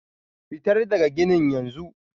fitar daga ginin yanzu!